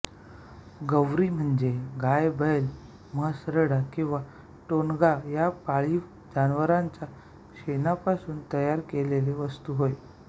गोवरी म्हणजे गायबैलम्हैसरेडा किंवा टोणगा या पाळीव जनावरांच्या शेणापासून तयार केलेली वस्तू होय